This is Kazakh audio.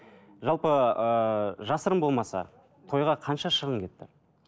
жалпы ыыы жасырын болмаса тойға қанша шығын кетті